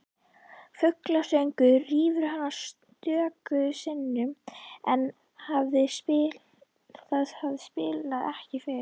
Fuglasöngur rýfur hana stöku sinnum en það spillir ekki fyrir.